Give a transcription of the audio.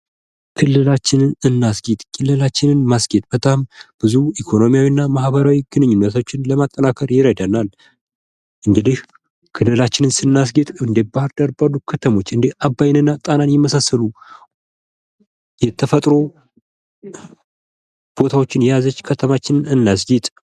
ክልላችንን እናስጊጥ ። ክልላችንን ማስጌጥ በጣም ብዙ ኢኮኖሚያዊ እና ማኅበራዊ ግንኙነቶችን ለማጠናከር ይረዳናል ።እንግዲህ ክልላችንን ስናስጌጥ እንደ ባህር ዳር ባሉ ከተሞች እንደ አባይን እና ጣናን የመሳሰሉ የተፈጥሮ ቦታዎችን የያዘች ከተማችን እናስጊጥ ።